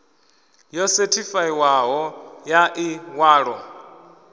yo sethifaiwaho ya ḽi ṅwalo